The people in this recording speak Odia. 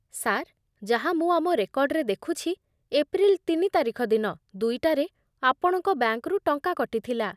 ସାର୍, ଯାହା ମୁଁ ଆମ ରେକର୍ଡ଼ରେ ଦେଖୁଛି, ଏପ୍ରିଲ୍ ତିନି ତାରିଖ ଦିନ ଦୁଇଟାରେ ଆପଣଙ୍କ ବ୍ୟାଙ୍କରୁ ଟଙ୍କା କଟିଥିଲା ।